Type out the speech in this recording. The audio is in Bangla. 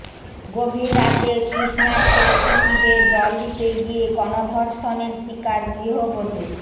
গভীর রাতে তৃষ্ণার্ত অতিথিদের জল দিতে গিয়ে গণধর্ষণের শিকার গৃহবধূ